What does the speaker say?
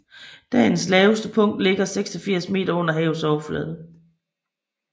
Dalens laveste punkt ligger 86 m under havets overflade